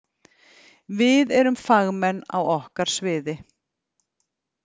Við erum fagmenn á okkar sviði.